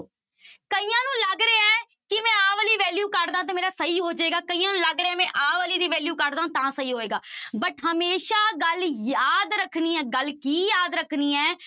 ਕਈਆਂ ਨੂੰ ਲੱਗ ਰਿਹਾ ਹੈ ਕਿ ਮੈਂ ਆਹ ਵਾਲੀ value ਕੱਢਦਾ ਤਾਂ ਮੇਰਾ ਸਹੀ ਹੋ ਜਾਏਗਾ, ਕਈਆਂ ਨੂੰ ਲੱਗ ਰਿਹਾ ਹੈ ਮੈਂ ਆਹ ਵਾਲੀ ਦੀ value ਕੱਢਦਾਂ ਤਾਂ ਸਹੀ ਹੋਏਗਾ but ਹਮੇਸ਼ਾ ਗੱਲ ਯਾਦ ਰੱਖਣੀ ਹੈ ਗੱਲ ਕੀ ਯਾਦ ਰੱਖਣੀ ਹੈ,